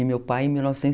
E meu pai em mil novecentos